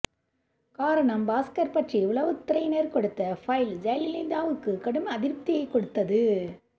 காரணம் பாஸ்கர் பற்றி உளவுத்துறையினர் கொடுத்த பைல் ஜெயலலிதாவுக்கு கடும் அதிருப்தியை கொடுத்தது